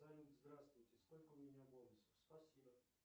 салют здравствуйте сколько у меня бонусов спасибо